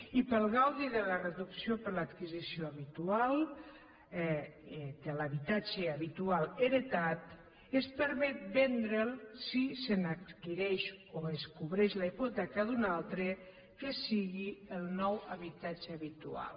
i per al gaudi de la reducció per l’adquisició de l’habitatge habitual heretat es permet vendre’l si se n’adquireix o es cobreix la hipoteca d’un altre que sigui el nou habitatge habitual